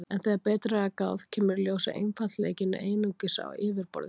En þegar betur er að gáð kemur í ljós að einfaldleikinn er einungis á yfirborðinu.